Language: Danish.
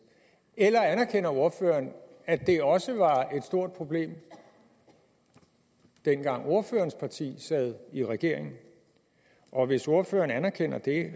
eller anerkender ordføreren at det også var et stort problem dengang ordførerens parti sad i regering og hvis ordføreren anerkender det